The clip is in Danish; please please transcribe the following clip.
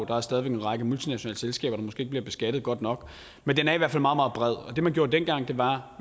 der er stadig væk en række multinationale selskaber der måske ikke bliver beskattet godt nok men den er i hvert fald meget meget bred det man gjorde dengang var